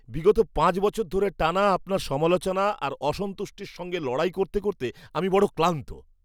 বিগত পাঁচ বছর ধরে টানা আপনার সমালোচনা আর অসন্তুষ্টির সঙ্গে লড়াই করতে করতে আমি বড় ক্লান্ত!